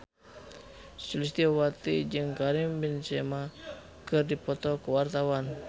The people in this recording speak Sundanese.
Sulistyowati jeung Karim Benzema keur dipoto ku wartawan